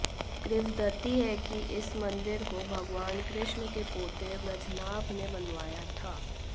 किंवदंती है कि इस मंदिर को भगवान कृष्ण के पोते वज्रनाभ ने बनवाया था